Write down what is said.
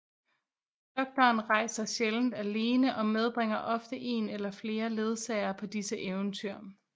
Doktoren rejser sjældent alene og medbringer ofte en eller flere ledsagere på disse eventyr